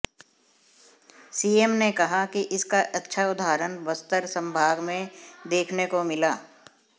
CM ने कहा कि इसका अच्छा उदाहरण बस्तर संभाग में देखने को मिला